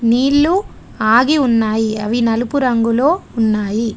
నీళ్ళు ఆగి ఉన్నాయి అవి నలుపు రంగులో ఉన్నాయి.